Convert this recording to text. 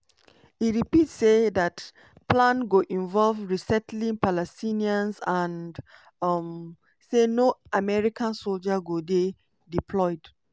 e repeat say dat plan go involve resettling palestinians and um say no american soldiers go dey deployed.